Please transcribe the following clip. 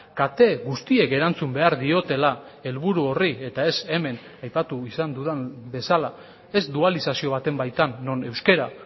kate guztiek erantzun behar diotela helburu horri eta ez hemen aipatu izan dudan bezala ez dualizazio baten baitan non euskara